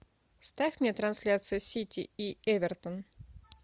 ставь мне трансляцию сити и эвертон